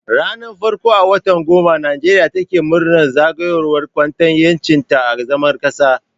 Ranar farko a watan goma Nijeriya take murnar zagayowar Kwatan Yancinta na zama kasa